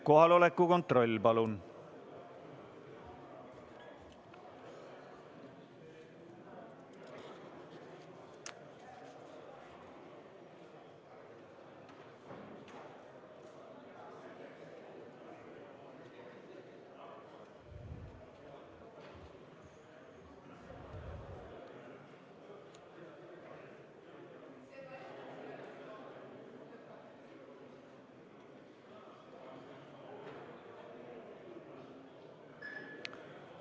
Kohaloleku kontroll, palun!